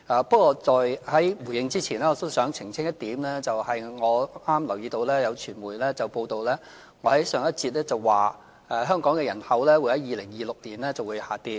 不過，在回應之前，我想澄清一點，就是我剛剛留意到有傳媒報道，指我在上一節說香港人口會在2026年下跌。